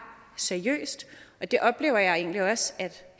seriøst og det oplever jeg egentlig også